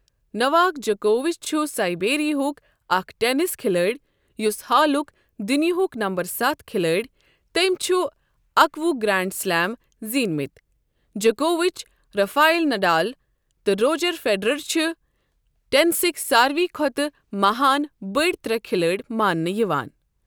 Novak جوکووِچ چھُ سٔربیہُک اَکھ ٹینِس کھلٲڑۍ یُس حالُک دُنؠ یاہُک نَمبر ستھ کھلٲڑؠ تٔمؠ چھِ اکوُہ گرٛینٛڈ سلیم زیٖنؠ مٕتؠ۔ جوکووِچ، رَفایل نڈال تہٕ روجر فیڈرر چھِ ٹینِسٕکؠ ساروٕے کھۄتہٕ مَہان بٔڈؠ ترٛےٚ کھلٲڑۍ ماننہٕ یِوان۔